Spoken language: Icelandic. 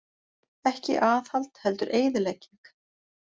Ekki aðhald heldur eyðilegging